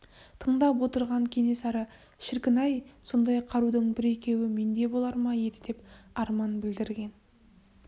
тыңдап отырған кенесары шіркін-ай сондай қарудың бір-екеуі менде болар ма еді деп арман білдірген